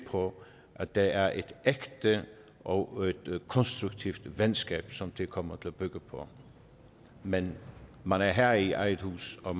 på at det er et ægte og et konstruktivt venskab som det kommer til at bygge på men man er herre i eget hus og